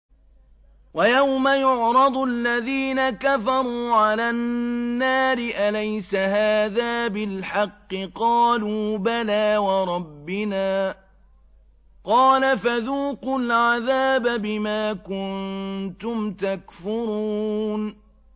وَيَوْمَ يُعْرَضُ الَّذِينَ كَفَرُوا عَلَى النَّارِ أَلَيْسَ هَٰذَا بِالْحَقِّ ۖ قَالُوا بَلَىٰ وَرَبِّنَا ۚ قَالَ فَذُوقُوا الْعَذَابَ بِمَا كُنتُمْ تَكْفُرُونَ